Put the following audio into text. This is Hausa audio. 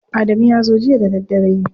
Adamu ya zo jiya da daddare.